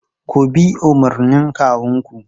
Ku bi umarnin kawunku!